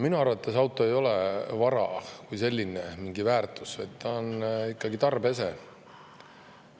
Minu arvates auto ei ole vara kui selline, lihtsalt mingi väärtus, ta on ikkagi tarbeese.